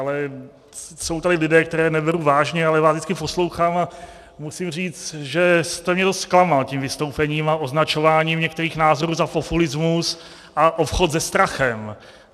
Ale jsou tady lidé, které neberu vážně, ale vás vždycky poslouchám a musím říct, že jste mě dost zklamal tím vystoupením a označováním některých názorů za populismus a obchod se strachem.